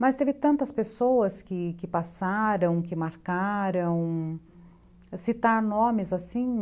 Mas teve tantas pessoas que que passaram, que marcaram, citar nomes assim...